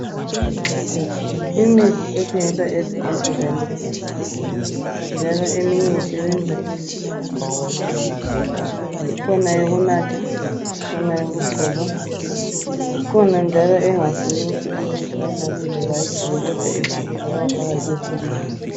Imithi ethengiswa ezibhedlela minengi njalo eminye isebenza izinto ezehlukeneyo ikhona yokunatha ikhona yokugcoba ikhona njalo engafuni ukuthi umuntu ayinathe loba ayigcobe kodwa ifuna ukufakwa phakathi kwezinye izinto